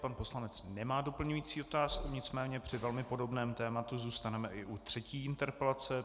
Pan poslanec nemá doplňující otázku, nicméně při velmi podobném tématu zůstaneme i u třetí interpelace.